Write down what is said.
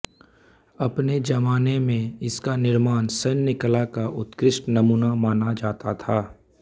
अपने जमाने में इसका निर्माण सैन्य कला का उतकृष्ठ नमूना माना जाता था